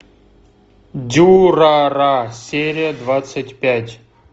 дюрарара серия двадцать пять